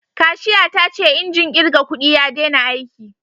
Kashiya ta ce injin kirga kudi ya dena aiki